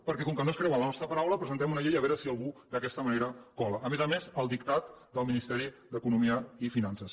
perquè com que no es creuen la nostra paraula presentem una llei a veure si algú d’aquesta manera cola a més a més al dictat del ministeri d’economia i finances